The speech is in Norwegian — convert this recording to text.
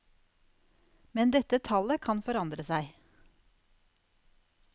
Men dette tallet kan forandre seg.